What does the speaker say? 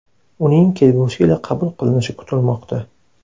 Uning kelgusi yili qabul qilinishi kutilmoqda.